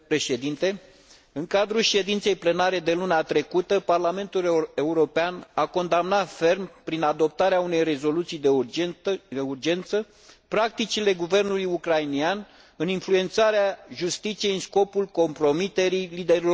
În cadrul ședinței plenare de luna trecută, Parlamentul European a condamnat ferm, prin adoptarea unei rezoluții de urgență, practicile guvernului ucrainean în influențarea justiției în scopul compromiterii liderilor opoziției.